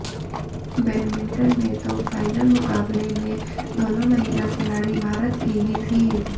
badminton में तो final मुकाबले में दोनों महिला खिलाड़ी भारत की ही थीं